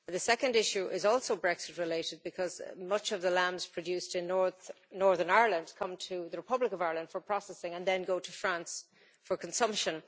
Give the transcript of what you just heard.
The second issue is also Brexit-related, because many of the lambs produced in Northern Ireland come to the Republic of Ireland for processing and then go to France for consumption.